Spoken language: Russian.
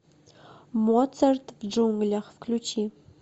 моцарт в джунглях включи